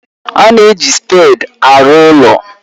A na-eji spèdi arụ ụlọ